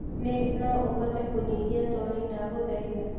ni no uhote kunyihia toni ndagũthaĩtha